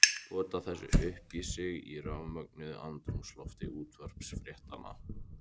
Pota þessu upp í sig í rafmögnuðu andrúmslofti útvarpsfréttanna.